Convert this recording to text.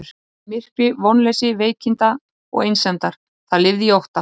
Það lifði í myrkri, vonleysi veikinda og einsemdar, það lifði í ótta.